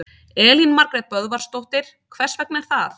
Elín Margrét Böðvarsdóttir: Hvers vegna er það?